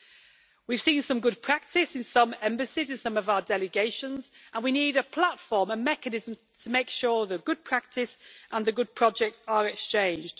We have seen some good practice in some embassies in some of our delegations, and we need a platform, a mechanism, to make sure the good practice and the good projects are exchanged.